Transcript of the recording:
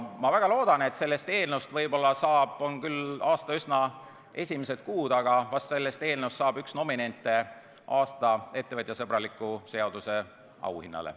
Ma väga loodan, et sellest eelnõust võib-olla saab – on küll aasta üsna esimesed kuud – üks nominente aasta ettevõtjasõbraliku seaduse auhinnale.